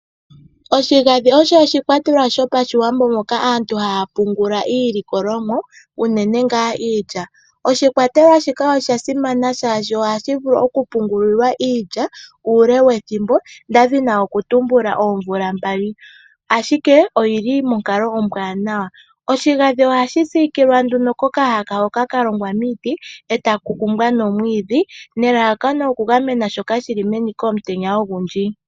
Oshigandhi osho oshikwatelwa sho paShiwambo moka aantu haa pungula iilikolomwa unene ngaa iilya . Oshikwatelwa shika osha simana shaashi ohashi vulu oku pungulilwa iilya uule wethimbo nda dhini oku tumbula oomvula mbali ashike oyili monkalo ombwaanawa. Oshigandhi ohashi siikilwa nduno kokahaka hoka ka longwa miiti e ta ku kumbwa nomwiidhi nelalakano oku gamena shoka shi li meni komutenya ogundji.